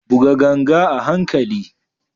Buga ganga a hankali.